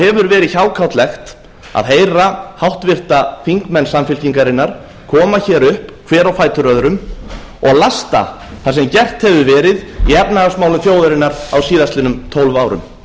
hefur verið hjákátlegt að heyra háttvirtir þingmenn samfylkingarinnar koma hér upp hver á fætur öðrum og útlista það sem gert hefur verið í efnahagsmálum þjóðarinnar á síðastliðnum tólf árum